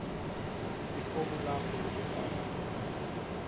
lifomu lakho lekufaka